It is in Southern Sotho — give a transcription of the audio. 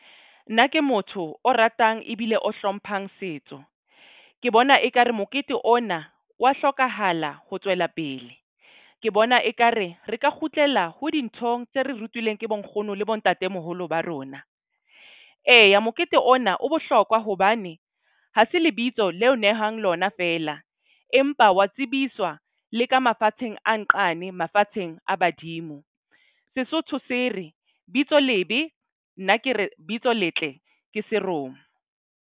Nna ke motho o ratang ebile o hlomphang setso. Ke bona ekare mokete ona wa hlokahala ho tswela pele. Ke bona ekare re ka kgutlela ho dinthong tse re rutileng ke bonkgono le bontatemoholo ba rona. Eya mokete ona o bohlokwa hobane ha se lebitso leo nehang lona feela. Empa wa tsebiswa le ka mafatsheng a nqane mafatsheng a badimo. Sesotho se re bitso lebe, nna ke re bitso letle ke seromo.